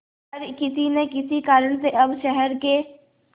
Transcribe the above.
पर किसी न किसी कारण से अब शहर के